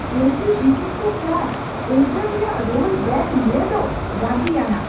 L G B T Q + ᱟᱹᱭᱫᱟᱹᱨ ᱨᱮᱭᱟᱜ ᱨᱳᱞᱵᱮᱹᱠ ᱧᱮᱞ ᱫᱚ ᱨᱟᱹᱜᱤᱭᱟᱱᱟᱜ ᱾